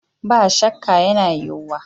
Ba shakka, yana yiwuwa